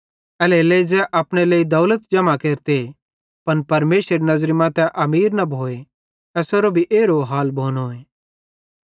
एल्हेरेलेइ ज़ै अपने लेइ दौलत जम्हां केरते पन परमेशरेरी नज़री मां तै अमीर न भोए एसेरो भी एरो हाल भोनोए